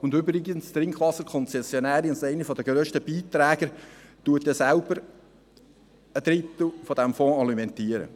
Und übrigens: Die Trinkwasserkonzessionärin, also eine der grössten Beitragenden, alimentiert selber einen Drittel dieses Fonds.